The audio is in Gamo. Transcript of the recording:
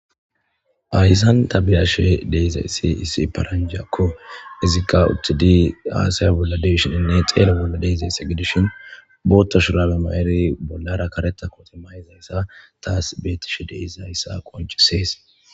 aysan tabiyashe de'izayssi issi paranjakko izikqa uttidi aasaya bolla deishininne xeele bolla deizaysse gidishin bootta shurabe ma7eri bollara kareta koti mayizayssa taas beetishe deizayssa qoncisees